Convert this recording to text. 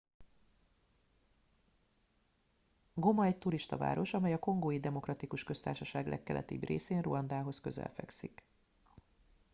goma egy turistaváros amely a kongói demokratikus köztársaság legkeletibb részén ruandához közel fekszik